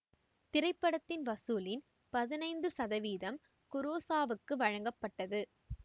திரைப்படத்தின் வசூலின் பதினைந்து சதவீதம் குரோசாவாவுக்கு வழங்கப்பட்டது